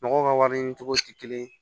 Mɔgɔw ka wari ɲini cogo tɛ kelen ye